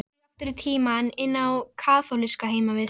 sagði Anna og strauk Kötu um hárið.